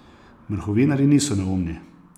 Mrhovinarji niso neumni.